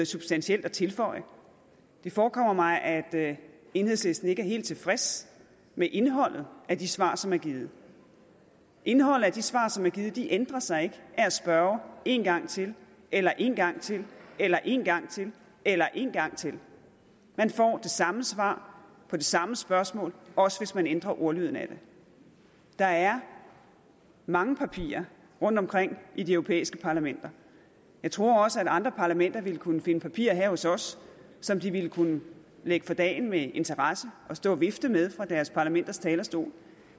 substantielt at tilføje det forekommer mig at at enhedslisten ikke er helt tilfreds med indholdet af de svar som er givet indholdet af de svar som er givet ændrer sig ikke af at spørge en gang til eller en gang til eller en gang til eller en gang til man får det samme svar på det samme spørgsmål også hvis man ændrer ordlyden af det der er mange papirer rundtomkring i de europæiske parlamenter jeg tror også at andre parlamenter ville kunne finde papirer her hos os som de ville kunne lægge for dagen med interesse og stå og vifte med fra deres parlamenters talerstole